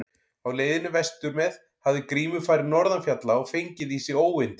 Á leiðinni vestur með hafði Grímur farið norðan fjalla og fengið í sig óyndi.